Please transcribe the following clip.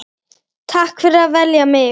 Takk fyrir að velja mig.